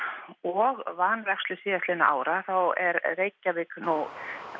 og vanrækslu síðastliðinna ára þá er Reykjavík nú